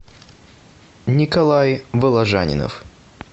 николай воложанинов